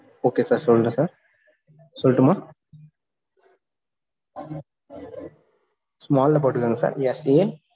okay sir சொல்றேன் sir சொல்டுமா small ல போட்டுக்கோங்க sirSA